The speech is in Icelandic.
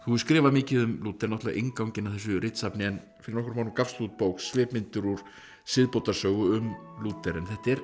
skrifað mikið um Lúther náttúrulega innganginn að þessu ritsafni en fyrir nokkrum árum gafstu út bók svipmyndir úr siðbótarsögu um Lúther en